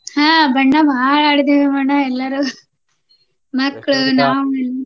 ಹಾ ಬಣ್ಣ ಬಾಳ ಆಡಿದ್ವಿ ಅಣ್ಣ ಎಲ್ಲರು ಮಕ್ಕ್ಳು ನಾವೂ ಎಲ್ಲ